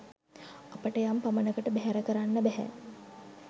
අපට යම් පමණකට බැහැර කරන්න බැහැ